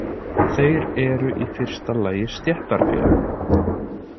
Þeir eru í fyrsta lagi stéttarfélög.